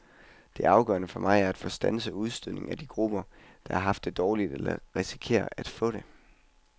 Det afgørende for mig er at få standset udstødningen af de grupper, der har haft det dårligt eller risikerer at få det.